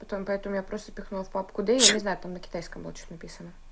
потом поэтому я просто пихнул в папку д я не знаю там на китайском было что то написано